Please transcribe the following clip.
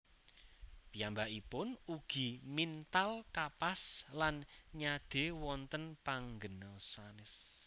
Piyambakipun ugi mintal kapas lan nyade wonten panggena sanes